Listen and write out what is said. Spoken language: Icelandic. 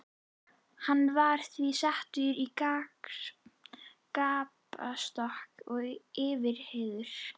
Var hann því settur í gapastokk og yfirheyrður.